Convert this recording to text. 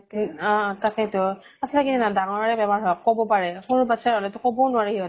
অʼ তাকেইতো । সচাঁকে জানা ডাঙৰে বেমাৰ হোৱা কʼব পাৰে, সৰু বাচ্ছাৰ হʼলে তো কʼব ও নোৱাৰে সিহঁতে ।